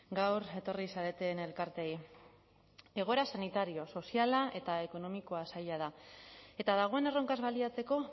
gaur etorri zareten elkarteei egoera sanitario soziala eta ekonomikoa zaila da eta dagoen erronkaz baliatzeko